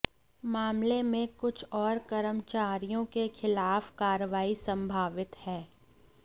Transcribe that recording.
मामले में कुछ और कर्मचारियों के खिलाफ कार्रवाई संभावित है